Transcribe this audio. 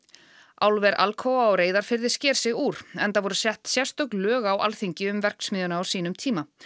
álver Alcoa á Reyðarfirði sker sig úr enda voru sett sérstök lög á Alþingi um verksmiðjuna á sínum tíma